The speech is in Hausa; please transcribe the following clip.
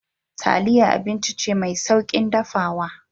Taliya abinci ce mai sauƙin dafawa.